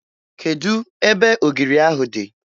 Kedụ ebe ogiri ahụ dị?